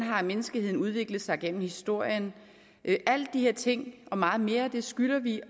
menneskeheden har udviklet sig gennem historien alle de her ting og meget mere skylder vi